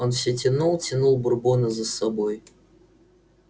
он все тянул тянул бурбона за собой